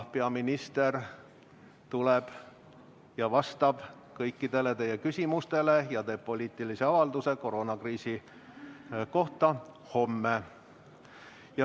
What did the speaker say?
Peaminister tuleb ja vastab kõikidele teie küsimustele ja teeb poliitilise avalduse koroonakriisi kohta homme.